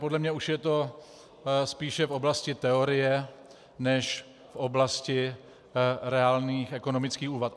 Podle mě je to už spíše v oblasti teorie než v oblasti reálných ekonomických úvah.